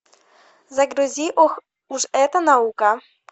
загрузи ох уж эта наука